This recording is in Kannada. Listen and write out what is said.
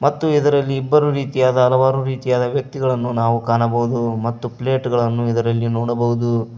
ಮತ್ತು ಇದರಲ್ಲಿ ಇಬ್ಬರು ರೀತಿಯಾದ ಹಲವಾರು ರೀತಿಯಾದ ವ್ಯಕ್ತಿಗಳನ್ನು ನಾವು ಕಾಣಬಹುದು ಮತ್ತು ಪ್ಲೇಟ್ ಗಳನ್ನು ಇದರಲ್ಲಿ ನೋಡಬಹುದು.